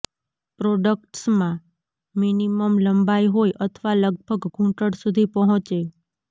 પ્રોડક્ટ્સમાં minimum લંબાઈ હોય અથવા લગભગ ઘૂંટણ સુધી પહોંચે